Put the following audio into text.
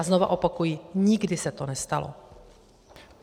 A znovu opakuji, nikdy se to nestalo.